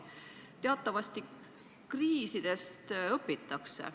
Teatavasti kriisidest õpitakse.